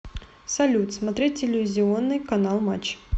салют смотреть телевизионный канал матч